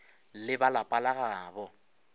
le ba lapa la gabo